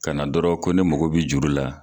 Kana dɔrɔn ko ne mago bi juru la